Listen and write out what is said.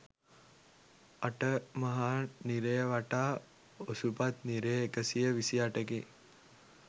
අට මහා නිරය වටා ඔසුපත් නිරය එකසිය විසි අටකි